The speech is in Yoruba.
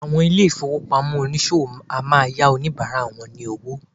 Àwọn ilé-ìfowópamọ́ oníṣòwò a máa yá àwọn oníbàárà wọ lówó.